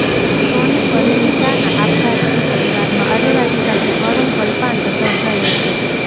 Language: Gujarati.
સોની પરિણીતાના આપઘાતથી પરિવારમાં અરેરાટી સાથે કરૂણ કલ્પાંત સર્જાયો છે